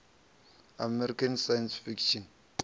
american science fiction